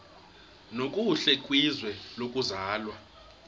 nokuhle kwizwe lokuzalwa